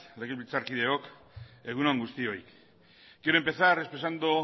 legebiltzarkideok egun on guztioi quiero empezar expresando